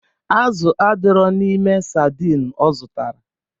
Azụ adirọ n'ime sardin ọ zụtara.